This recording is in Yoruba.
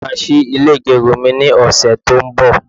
mo ma sí ilè igerun mi ni ọsẹ ti o n bo